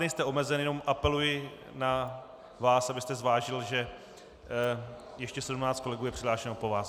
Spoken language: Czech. Nejste omezen, jenom apeluji na vás, abyste zvážil, že ještě 17 kolegů je přihlášeno po vás.